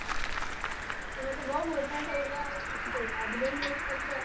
તમે તો બઉ મોટા થઈ ગયા યાર યાદ ભી નઈ કરતા.